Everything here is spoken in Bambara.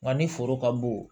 Nka ni foro ka bon